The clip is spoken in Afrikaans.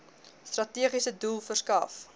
strategiese doel verskaf